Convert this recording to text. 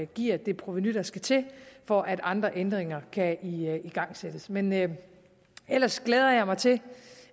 giver det provenu der skal til for at andre ændringer kan igangsættes men men ellers glæder jeg mig til